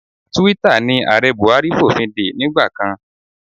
Twitter ni Ààrẹ Buhari fòfindè nígbà kan.